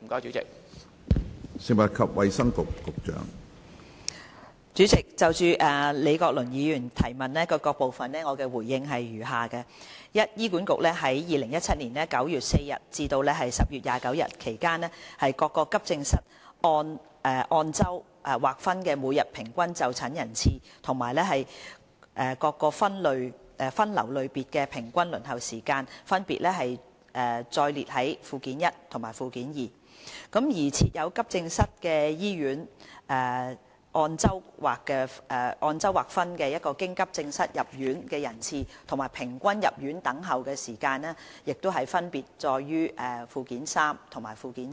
主席，就李國麟議員質詢的各部分，我回應如下：一醫院管理局在2017年9月4日至10月29日期間各急症室按周劃分的每日平均就診人次及各分流類別的平均輪候時間分別載列於附件一及附件二；而設有急症室的醫院按周劃分的經急症室入院人次及平均入院等候時間分別載列於附件三及附件四。